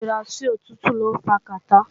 Ṣíṣíra sòtútù lọ́ ń fa kàtá